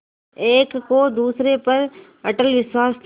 एक को दूसरे पर अटल विश्वास था